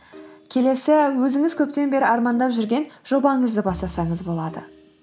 келесі өзіңіз көптен бері армандап жүрген жобаңызды бастасаңыз болады